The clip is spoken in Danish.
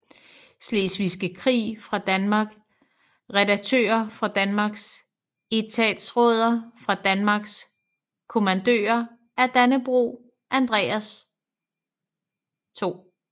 Slesvigske Krig fra Danmark Redaktører fra Danmark Etatsråder fra Danmark Kommandører af Dannebrog Andreas 2